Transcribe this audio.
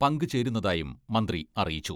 പങ്കുചേരുന്നതായും മന്ത്രി അറിയിച്ചു.